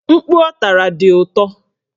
Mkpu ọ tara dị ụtọ